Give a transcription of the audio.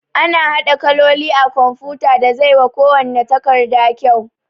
Ana haɗa kaloli a kumfuta da zai wa kuwanna takarda kyau